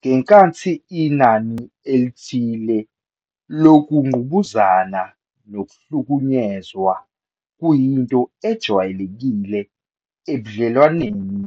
Ngenkathi inani elithile lokungqubuzana nokuhlukunyezwa kuyinto ejwayelekile ebudlelwaneni